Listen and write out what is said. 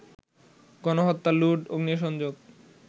গণহত্যা, লুট, অগ্নিসংযোগ